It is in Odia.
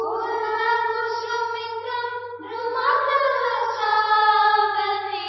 ଫୁଲ୍ଲକୁସୁମିତଦୃମଦଳଶୋଭିନିଂ